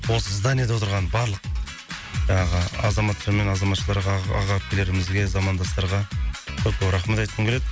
осы зданиеде отырған барлық жаңағы азаматша мен азаматшаларға аға аға әпкелерімізге замандастарға көп көп рахмет айтқым келеді